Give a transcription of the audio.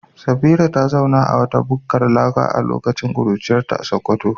Safira ta zauna a wata bukkar laka a lokacin kuruciyarta a Sakkwato.